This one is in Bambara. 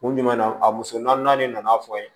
Kun jumɛn na a muso nann'ale nana fɔ a ye